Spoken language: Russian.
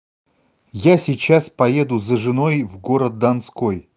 я сейчас поеду за женой в город донской